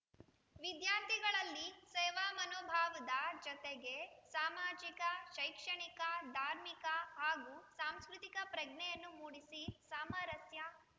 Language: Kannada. ವಿದ್ಯಾರ್ಥಿಗಳಲ್ಲಿ ಸೇವಾ ಮನೋಭಾವದ ಜತೆಗೆ ಸಾಮಾಜಿಕ ಶೈಕ್ಷಣಿಕ ಧಾರ್ಮಿಕ ಹಾಗೂ ಸಾಂಸ್ಕೃತಿಕ ಪ್ರಜ್ಞೆಯನ್ನು ಮೂಡಿಸಿ ಸಾಮರಸ್ಯ